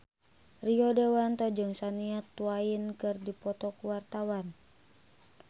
Rio Dewanto jeung Shania Twain keur dipoto ku wartawan